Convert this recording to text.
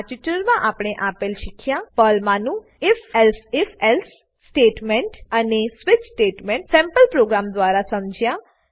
આ ટ્યુટોરીયલમાં આપણે આપેલ શીખ્યા પર્લમાનું if elsif એલ્સે સ્ટેટમેંટ અને સ્વિચ સ્ટેટમેંટ સેમ્પલ પ્રોગ્રામ દ્વારા સમજ્યા